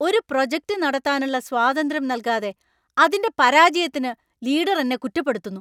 ഒരു പ്രോജക്റ്റ് നടത്താനുള്ള സ്വാതന്ത്ര്യം നൽകാതെ അതിന്‍റെ പരാജയത്തിന് ലീഡര്‍ എന്നെ കുറ്റപ്പെടുത്തുന്നു.